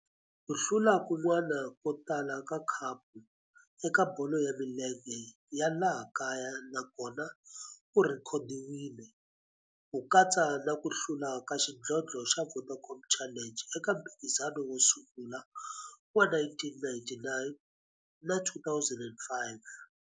Ku hlula kun'wana ko tala ka khapu eka bolo ya milenge ya laha kaya na kona ku rhekhodiwile, ku katsa na ku hlula ka xidlodlo xa Vodacom Challenge eka mphikizano wo sungula wa 1999 na 2005.